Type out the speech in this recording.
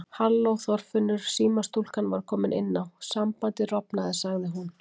Halló Þorfinnur símastúlkan var komin inn á, sambandið rofnaði sagði hún.